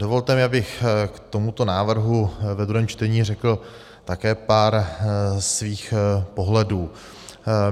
Dovolte mi, abych k tomuto návrhu ve druhém čtení řekl také pár svých pohledů.